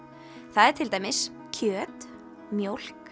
það er til dæmis kjöt mjólk